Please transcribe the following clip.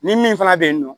Ni min fana bɛ yen nɔ